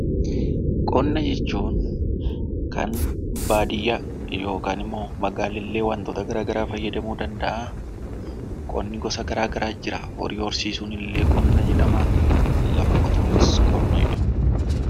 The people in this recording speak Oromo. Qonna jechuun kan baadiyyaa yookaan immoo magaalaan illee wantoota garaagaraa fayyadamuu danda'a. Qonni gosa garaagaraatu jira. Horii horsiisuun illee qonna jedhama lafa qotuunis qonna jedhama.